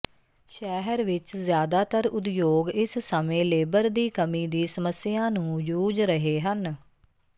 ਸ਼ਹਿਰ ਵਿਚ ਜ਼ਿਆਦਾਤਰ ਉਦਯੋਗ ਇਸ ਸਮੇਂ ਲੇਬਰ ਦੀ ਕਮੀ ਦੀ ਸਮੱਸਿਆ ਨੂੰ ਜੂਝ ਰਹੇ ਹਨ